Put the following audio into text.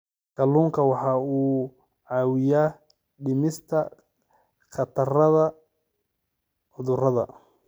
Kalluunku waxa uu caawiyaa dhimista khatarta cudurrada.